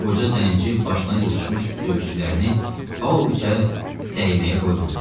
Qoca zənci başına yığışmış döyüşçülərini Pavloviçə dəyməyə qoymadı.